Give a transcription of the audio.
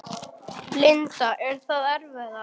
Linda: Er það erfiðara?